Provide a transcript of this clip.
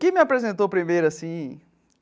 Quem me apresentou primeiro assim?